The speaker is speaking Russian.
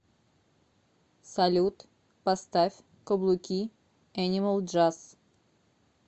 салют поставь каблуки энимал джаз